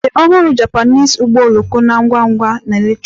The ọhụrụ Japanese ụgbọ oloko na-ngwa ngwa na electric